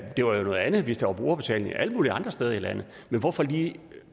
det var jo noget andet hvis der var brugerbetaling alle mulige andre steder i landet men hvorfor lige